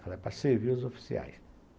Falei, é para servir os oficiais.